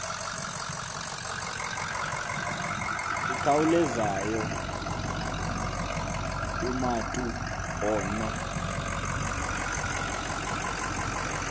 ikhawulezayo umatu ono